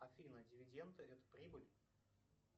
афина дивиденды это прибыль